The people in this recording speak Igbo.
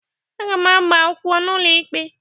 Aga m agbaakwụkwọ n'ụlọ ikpe